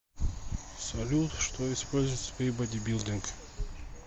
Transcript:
салют что используется при бодибилдинг